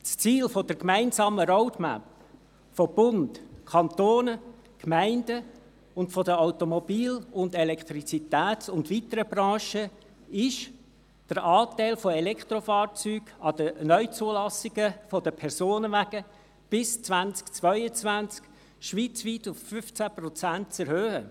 Das Ziel einer gemeinsamen Roadmap von Bund, Kantonen, Gemeinden und von den Automobil-, Elektrizitäts- und weiteren Branchen ist es, den Anteil von Elektrofahrzeugen unter den Neuzulassungen von Personenwagen bis 2022 schweizweit auf 15 Prozent zu erhöhen.